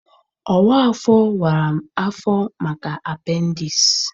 Ọwa afọ wara m afọ maka apendiisi.